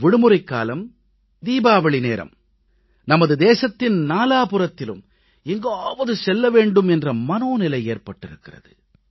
விடுமுறைக்காலம் தீபாவளி நேரம் நமது தேசத்தின் நாலாபுறத்திலும் எங்காவது செல்ல வேண்டும் என்ற மனோநிலை ஏற்பட்டிருக்கிறது